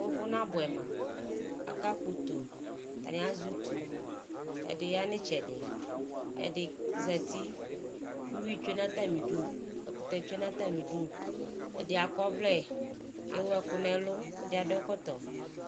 Ʋvʋ nabuɛ ma, aka kpɔ utoo, atani azɛ utu, ɛdi ya n'itsɛdi, ɛdi zati, uyui tsoe n'atmidu, ɛkʋtɛ tsoe n'atamidʋ, ɛdi ak'ɔvlɛ, ewu ɛkʋ n'ɛlʋ, ɛdi adʋ ɛkɔtɔ